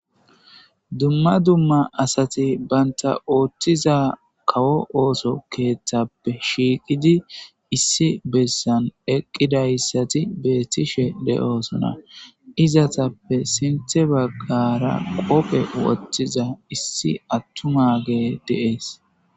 dumma dumma asati banta ooththiza kawo ooso keeththappe shiiqidi issi bessan eqqidayssati beettishe de7oosona izatappe sinthe baggara qophe wottiza issi attumage de7es